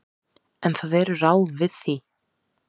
En það eru ráð við því.